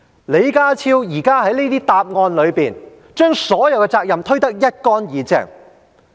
李家超現時這些答覆，就是把所有責任都推得一乾二淨。